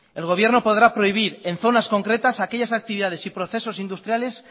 el gobierno podrá prohibir en zonas concretas aquellas actividades y procesos industriales